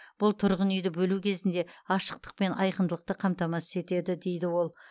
бұл тұрғын үйді бөлу кезінде ашықтық пен айқындылықты қамтамасыз етеді дейді ол